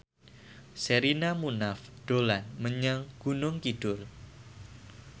Sherina Munaf dolan menyang Gunung Kidul